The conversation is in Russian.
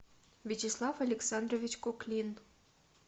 вячеслав александрович куклин